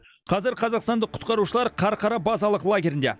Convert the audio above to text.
қазір қазақстандық құтқарушылар қарқара базалық лагерінде